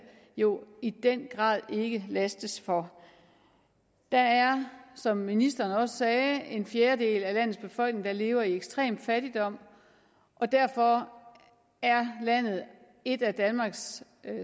jo i den grad ikke lastes for der er som ministeren også sagde en fjerdedel af landets befolkning der lever i ekstrem fattigdom derfor er landet et af danmarks